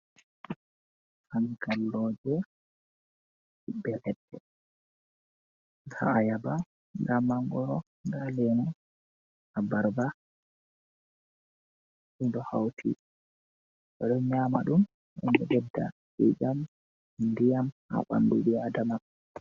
Angalloje bel’edde nda’ayaba. Nda mangoro, nda lemu, abarba ɗo hauti boɗo nyama ɗum. Boɗo beɗɗa i'iam, ndiyam ha bamɗu bi aɗama.